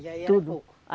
E aí era pouco.